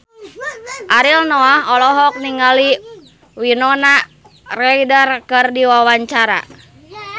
Ariel Noah olohok ningali Winona Ryder keur diwawancara